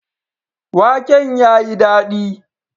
Waken ya yi dadi.